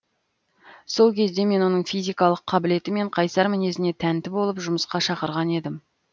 сол кезде мен оның физикалық қабілеті мен қайсар мінезіне тәнті болып жұмысқа шақырған едім